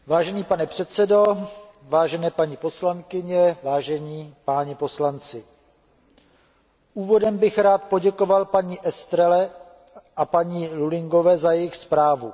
Vážený pane předsedo, vážené paní poslankyně, vážení páni poslanci, úvodem bych rád poděkoval paní Estrelové a paní Lullingové za jejich zprávu.